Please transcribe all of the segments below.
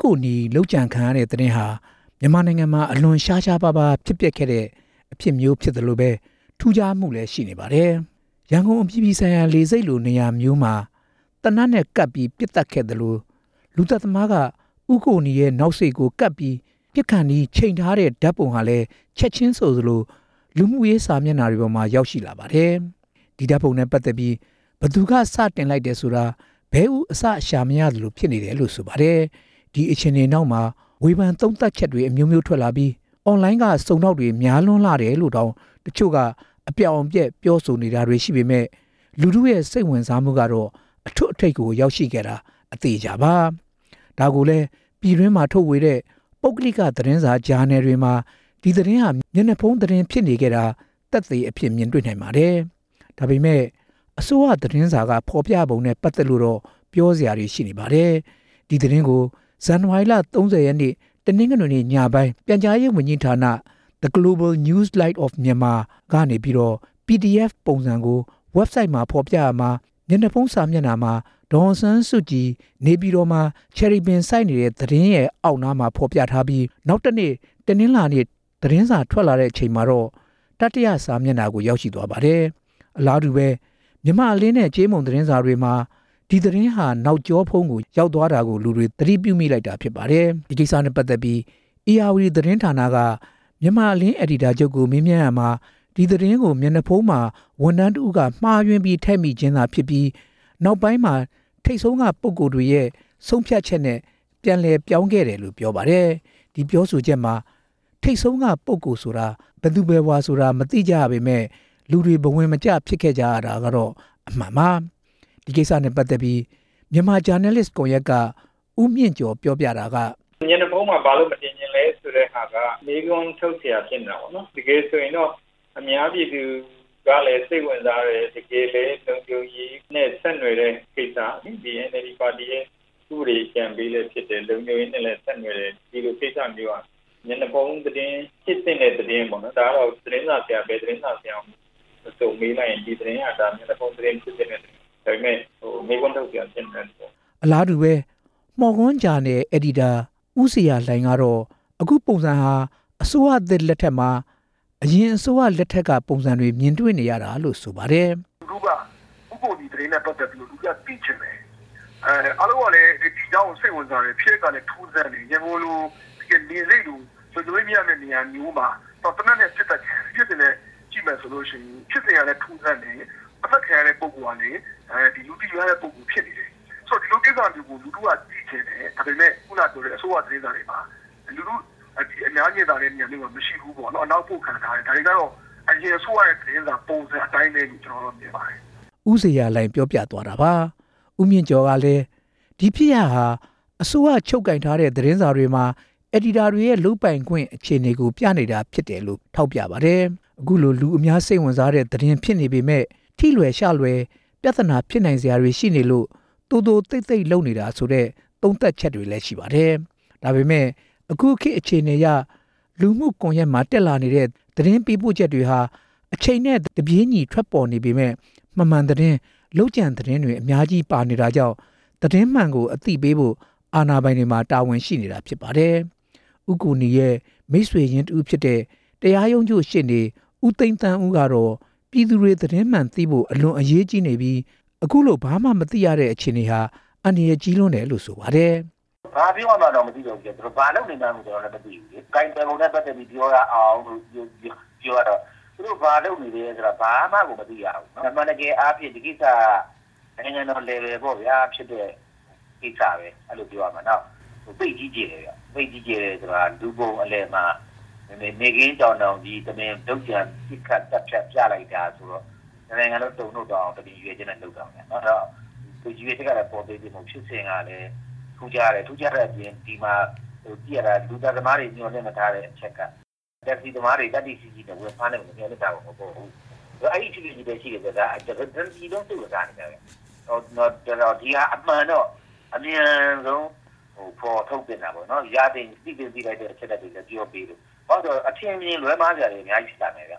ကိုနီ လုပ်ကြံခံရတဲ့ သတင်းဟာ မြန်မာနိုင်ငံမှာ အလွန်ရှားရှားပါးပါး ဖြစ်ပျက်ခဲ့တာမျိုးဖြစ်သလို ထူးခြားမူလည်း ရှိနေပါတယ်။ လူတစ်ဦးကို ရန်ကုန်အပြည်ပြည်ဆိုင်ရာ လေဆိပ်လိုမျိုးနေရာမှာ သေနတ်နဲ့ ကပ်ပြီးပစ်ခဲ့သလို လူသတ်သမားက ဦးကိုနီရဲ့ နောက်စေ့ကို ကပ်ပြီးမပစ်ခင်သေနတ် ချိန်ထားတဲ့ ဓါတ်ပုံဟာလည်း ချက်ခြင်းဆိုသလို လူမူကွန်ရက်စာမျက်နှာတွေပေါ်မှာ ရောက်ရှိလာတာပါ။ ဒီဓါတ်ပုံနဲ့ပတ်သက်ပြီး ဘယ်သူစပြီးတင်လိုက်တယ်ဆိုတာ ဘဲဥအစရှာမရဖြစ်နေတယ်လို့ ဆိုပါတယ်။ ဒီအခြေ အနေနောက်မှာ ဝေဖန်သုံးသပ်ချက်တွေ အမျိုးမျိုး ထွက်လာပြီး online စုံထောက်တွေ များလှတယ်လို့တောင် တချို့ကအပြောင်အပျက် ပြောဆိုနေတာမျိုးတွေရှိပေမယ့် လူထုရဲ့ စိတ်ဝင်စားမူကတော့ အထွတ်အထိပ် ကိုရောက်ခဲ့တာ အသေအချာပါ။ ဒါကိုလည်း ပြည်တွင်းထုတ်ဝေတဲ့ ပုဂ္ဂလိက သတင်းစာ၊ ဂျာနယ်တွေမှာ ဒီသတင်းဟာ မျက်နှာဖုံး သတင်းဖြစ်ခဲ့တာ ကို သက်သေအဖြစ်မြင်နိုင်ပါတယ်။ ဒါပေမဲ့ အစိုးရသတင်းစာတွေက ဖော်ပြပုံနဲ့ ပတ်သက်လို့တော့ ပြောစရာတွေ ရှိခဲ့ပါတယ်။ ဒီသတင်းကို ဇန်နဝါရီလ ၃၀ ရက်နေ့ တနင်္ဂနွေနေ့ညပိုင်း အစိုးရ ပြန်ကြားရေးဝန်ကြီးဌာနThe Global New Light of Myanmar က PDF ပုံစံကို web site မှာ ဖော်ပြရာမှာ မျက်နှာဖုံးစာမျက်နှာမှာ ဒေါ်အောင်ဆန်း စုကြည် နေပြည်တော်မှာ ချယ်ရီပင်စိုက်နေတဲ့သတင်းရဲ့ အောက်နားမှာ ဖော်ပြထားပြီး၊ နောက်တစ်နေ့ တနင်္လာနေ့ သတင်းစာထွက်လာချိန်မှာတော့ တတိယစာမျက်နှာကို ရောက်ရှိသွားပါတယ်။ အလားတူ မြန်မာ့အလင်းနဲ့ ကြေးမုံသတင်းစာတွေမှာ ဒီသတင်းဟာ နောက်ကျောကို ရောက်သွားတာကို လူတွေသတိပြုမိလိုက်တာဖြစ်ပါတယ်။ ဒီကိစ္စနဲ့ပတ်သက်ပြီး ဧရာဝတီသတင်းက မြန်မာအလင်း အယ်ဒီတာချုပ်ကို မေးမြန်းရာမှာ ဒီသတင်းကို မျက်နှာဖုံးမှာ ဝန်ထမ်းတစ်ဦးက မှားယွင်းထည့်မိခြင်းသာဖြစ်ပြီး နောက်ပိုင်းမှာ ထိတ်ဆုံးက ပုဂ္ဂိုလ်တွေရဲ့ ဆုံးဖြတ်ချက်နဲ့ ပြန်လည်ပြောင်းခဲ့တယ်လို့ ပြောပါတယ်။ ဒီပြောဆိုချက်မှာ ထိတ်ဆုံးကပုဂ္ဂိုလ်ဆိုတာ ဘယ်သူဘယ်ဝါဆိုတာမသိကြရပေမယ့် လူတွေဘဝင်မကျ ဖြစ်ခဲ့ကြရတာကတော့ အမှန်ပါ။ ဒီကိစ္စနဲ့ ပတ်သက်ပြီး မြန်မာဂျာနယ်လစ်ကွန်ရက်က ဦးမြင့်ကျော်ပြောတာကတော့ မျက်နှာဖုံးမှာ ဘာကြောင့်မတင်ချင်သလဲဆိုတဲ့ဟာက မေးခွန်းထုတ်စရာဖြစ်နေတာပေါ့နော်၊ တကယ်ဆိုရင်တော့ အများပြည်သူကလည်း စိတ်ဝင်စားတယ်၊ တကယ်လည်းလုံခြုံရေးနဲ့ ဆက်နွယ်တဲ့ကိစ္စ၊ NLD ပါတီရဲ့ ဥပဒေအကြံပေးလည်းဖြစ်တယ်၊ ဒီလိုကိစ္စမျိုးဟာ မျက်နှာဖုံးသတင်းဖြစ်သင့်တဲ့ သတင်းပေါ့၊ ဒါကတော့ ဘယ်သတင်းစာဆရာမဆို မေးလိုက်ရင် ဒီသတင်းဟာ မျက်နှာဖုံး သတင်းလို့ပြောမှာ“ အလားတူ မော်ကွန်းဂျာနယ် အယ်ဒီတာ ဦးဇေယျာလှိုင်ကတော့ အခုပုံစံဟာ အစိုးရသစ်လက်ထက်မှာ အရင်အစိုးရလက်ထက်က ပုံစံတွေကိုမြင်တွေ့နေရတာလို့ ဆိုပါတယ်။ လူတွေက သိချင်တယ်အားလုံးကလည်း ဒီအကြောင်းကို သိချင်တယ၊် ဖြစ်ရပ်ကလည်း ထူးဆန်းတယ် ဖြစ်စဉ်ကလည်းထူးဆန်းတယ်၊ အသတ်ခံရတဲ့ ပုဂ္ဂိုလ်ကလည်း လူသိများတဲ့ ပုဂ္ဂိုလ်ဖြစ်နေတယ်၊ ဒါပေမဲ့ အစိုးရသတင်းစာတွေမှာ အများမြင်သာတဲ့ နေရာမျိုးမှာ မရှိဘူးပေါ့ အနောက်ပို့ခံထားရတယ်၊ ဒါတွေကတော့ အရင်အစိုးရရဲ့ သတင်းစာပုံစံအတိုင်းပဲလို့ ကျနော်တော့ မြင်ပါတယ်“ ဦးဇေယျာလှိုင် ပြောသွားတာပါ။ ဦးမြင့်ကျော်ကလည်း ဒီဖြစ်ရပ်ဟာ အစိုးရချုပ်ကိုင်တဲ့ သတင်းစာတွေမှာ အယ်ဒီတာတွေရဲ့ လုပ်ပိုင်ခွင့်အခြေအနေကို ပြနေတာဖြစ်တယ်လို့ ထောက်ပြပါတယ်။ အခုလို လူအများစိတ်ဝင်စားတဲ့ သတင်းဖြစ်နေပေမယ့် ထိလွယ်ရှလွယ် ပြဿနာဖြစ်နိုင်စရာ အကြောင်းတွေရှိနေလို့ သိုသိုသိပ်သိပ်လုပ်နေတယ်ဆိုတဲ့ သုံးသပ်ချက်တွေရှိပါတယ်။ ဒါပေမဲ့ ခုခေတ်အခြေအနေအရ လူမှုကွန်ရက်မှာ တက်လာနေတဲ့ သတင်းပေးပို့ချက်တွေအနေနဲ့ အချိန်နဲ့တပြေး ညီထွက်ပေါ်နေပေမယ့် မမှန်သတင်း၊ လုပ်ကြံသတင်းတွေ အများကြီးပါနေတာကြောင့် သတင်းမှန်ကို အသိပေးဖို့ အာဏာပိုင်တွေမှာ တာဝန်ရှိနေတာဖြစ်ပါတယ်။ ဦးကိုနီရဲ့ မိတ်ဆွေရင်းတစ်ဦးဖြစ်တဲ့ တရားရုံးချုပ်ရှေ့နေ ဦးသိန်းသန်းဦးကတော့ ပြည်သူတွေ သတင်းမှန်သိဖို့ အလွန်အရေးကြီးပြီး အခုလို ဘာမှမသိရသေးတဲ့ အခြေအနေဟာအန္တရယ်ကြီးတယ်လို့ ဆိုပါတယ်။ ဘာပြောရမှန်းတောင်မသိတော့ဘူးဗျာ၊ ဘာလုပ်နေမှန်းကို ကျနော်လည်းမသိတာ၊ အမှန်တကယ်အားဖြင့် ဒီကိစ္စဟာ နိုင်ငံတော်အဆင့်ဖြစ်တဲ့ကိစ္စပဲ၊ ပြောရမှာ နောက် သိပ်ကြီးကျယ်တယ်ဆိုတာ လူပုံအလည် မှာ နေ့ခင်းကြောင်တောင်ကြီး တမင်လုပ်ကြံပြလိုက်တာဆိုတော့ တစ်နိုင်ငံလုံးတုန်လှုပ်သွားအောင်၊ ရည်ရွယ်ချက်ကလည်း ပေါ့သေးသေးမဟုတ်ဘူး၊ ဖြစ်စဉ်ကလည်း ထူးခြားတယ်။ လူသတ်သမားတွေ မျှော် လင့်မထားတဲ့ တက္ကစီသမားတွေ သတ္တိရှိရှိနဲ့ ဝင်ဖမ်းတဲ့ကိစ္စ အဲဒီအခြေအနေအရ တစ်ပြည်လုံးစိတ်ဝင် စားနေကြတာ၊ အမှန်တော့ အမြန်ဆုံးဖော်ထုတ်ပေးသင့်တာပေါ့၊ သိသင့်သိထိုက်တာတွေကို လည်းပြောပေးပေါ့၊ ဘာဖြစ်လို့လဲဆိုတော့ အထင်အမြင်လွဲမှားစရာတွေ အများကြီးဖြစ်လာနိုင်မယ်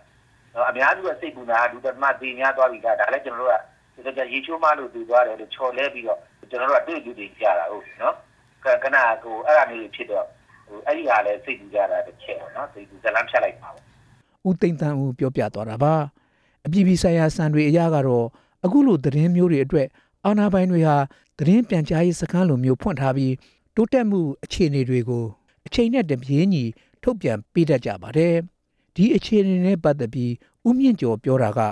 ၊ အများစုစိတ်ပူနေတာက လူသတ်သမား သေများသွားပြီလား၊ ရေချိုးမှားလို့ သေသွားတယ်လို့ ၊ ချော်လဲပြီးတော့လို့ ကျနော်တို့က အတွေ့အကြုံတွေအရသိနေတာကို၊ အဲဒီဟာလည်း စိတ်ပူရတာတစ်ချက် ဇာတ်လမ်းဖြတ်လိုက်မှာကို“ ဦးသိန်းသန်းဦး ပြောပြတာပါ။ အပြည်ပြည်ဆိုင်ရာ စံတွေအရကတော့ အခုလိုသတင်းမျိုးတွေအတွက် အာဏာပိုင်တွေဟာ သတင်းပြန်ကြားရေး စခန်းလိုမျိုးဖွင့်ထားပြီး တိုးတက်မူအခြေတွေကို အချိန်နဲ့တပြေးညီ ထုတ်ပြန်ပေးတတ်ကြပါတယ်။ ဒီအခြေအနေနဲ့ပတ်သက်ပြီး ဦးမြင့်ကျော် ပြောတာက သ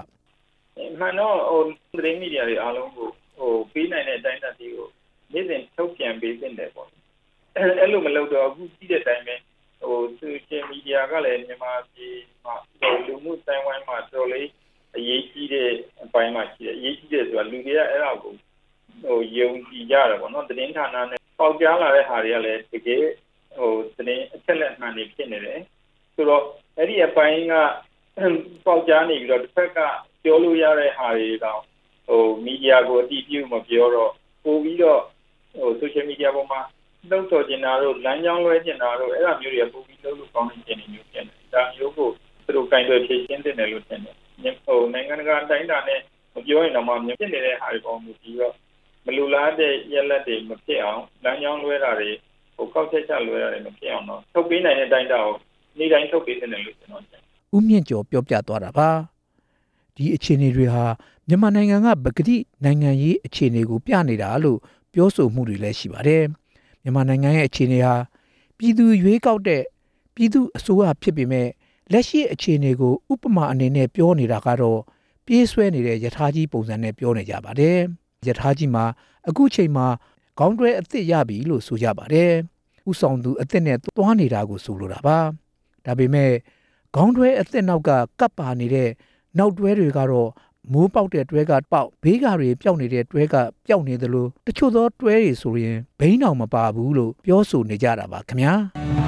တင်းမီဒီယာတွေအားလုံးကို ပေးနိုင်တဲ့ အတိုင်းအတာအားလုံးကို နေ့စဉ်ထုတ်ပြန်ပေးသင့်ပါတယ်။ အဲလိုမလုပ်တော့ ခုသိတဲ့အတိုင်းပဲ ဆိုရှယ်မီဒီယာကလည်း မြန်မာပြည်လူမူအသိုင်းအဝိုင်းမှာ အတော်လေးအရေးကြီးတဲ့ အပိုင်းမှာရှိတယ်၊ လူတွေကအဲဒါကို ယုံကြည်ကြတယ်ပေါ့နော်၊ ပေါက်ကြား လာတဲ့ဟာတွေကလည်း အချက်အလက်မှန်တွြေုဖစ်နေတယ်၊ ဆိုတော့ အဲဒီအပိုင်းက ပေါက်ကြားနေ ပြီးတော့ တဘက်က ပြောလိုရတဲ့ဟာတွေတောင် မီဒီယာကို အတည်ပြုမပြောတော့ ဆိုရှယ်မီဒီပေါ်မှာ လှုံ့ဆော်ချင်တာတို့၊ လမ်းကြောင်းလွဲအောင်လုပ်ချင်တာတို့ အဲဒါမျိုးတွေက ပိုပြီးလုပ်လို့ကောင်းတဲ့ အခြေအနေပေးသလိုဖြစ်နေတယ်၊ ဒါမျိုးကို သူတို့ကိုင်တွယ် ဖြေရှင်းသင့်တယ်လို့ထင်တယ်၊ နိုင်ငံတကာ အတိုင်းအတာနဲ့ မပြောရင်တောင်မှ ဖြစ်နေတာတွေပေါ်မှာ မူတည်ပြီး မလိုလားတဲ့ ရလဒ်တွေ မဖြစ်အောင်၊ ကောက်ချက်ချလွဲတာတွေမဖြစ်အောင် ထုတ်ပေးနိုင်တဲ့ အတိုင်းအတာကို နေ့စဉ် ထုတ်ပေးနိုင်တာတွေကို နေ့တိုင်းထုတ်ပေးသင့်တယ်လို့ ကျနော်မြင်တယ် “ ဦးမြင့်ကျော် ပြောပြတာပါ။ ဒီအခြေအနေတွေဟာ မြန်မာနိုင်ငံက ပကတိနိုင်ငံရေးအခြေအနေကို ပြနေတာ လို့လည်း ပြောဆိုတာတွေရှိပါတယ်။ မြန်မာနိုင်ငံရဲ့ အခြေအနေဟာ ပြည်သူရွေးကောက်တဲ့ အစိုးရဖြစ်နေပေမယ့် လက်ရှိအခြေအနေကို ဥပမာအနေနဲ့ပြောနေတာကတော့ ပြေးဆွဲနေတဲ့ ရထားကြီးပုံစံ ပြောနေကြပါတယ်။ ပြေးနေတဲ့ ရထားကြီးမှာ ခုချိန်မှာ ခေါင်းတွဲအသစ်ရပြီလို့ဆိုပါတယ် ဦးဆောင်သူ အသစ်နဲ့သွားနေမှာကို ဆိုလိုတာပါ။ ဒါပေမဲ့ ခေါင်းတွဲအသစ်နောက်က ကပ်ပါနေတဲ့ နောက်တွဲတွေကတော့ အမိုးပေါက်တဲ့ တွဲကပေါက်၊ ဘေးကာပျောက်နေတဲ့ တွဲကပျောက် ဖြစ်နေသလို တချို့သောတွဲတွေဆို ဘီးတောင်မပါဘူး လို့ ပြောဆိုနေကြတာပါခင်ဗျာ